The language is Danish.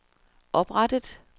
oprettet